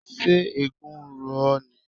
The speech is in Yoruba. Ṣé eégún ń ro ọ́ ni?